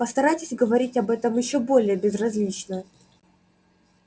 постарайтесь говорить об этом ещё более безразлично